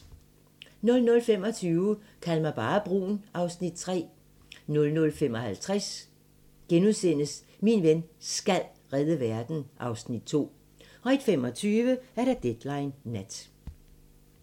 00:25: Kald mig bare brun (Afs. 3) 00:55: Min ven SKAL redde verden (Afs. 2)* 01:25: Deadline Nat